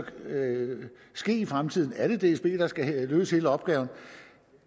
skal foregå i fremtiden er det dsb der skal løse hele opgaven